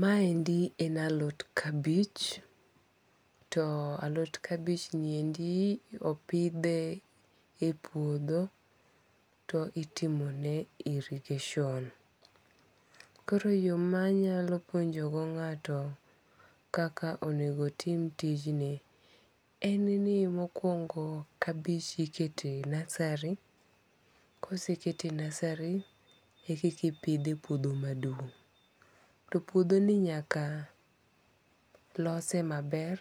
Maendi en alot kabich. To alot kabich ni endo opidhe e puodho. To itimone irrigation. Koro yo manyalo puonjo go ng'ato kaka onego otim tijni en ni mokwongo kabich iketo e nursery. Kosekete e nursery e kiki pidhe e puodho maduong'. To puodho ni nyaka lose maber,